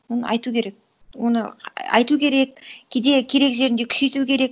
оны айту керек оны айту керек кейде керек жерінде күшейту керек